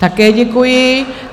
Také děkuji.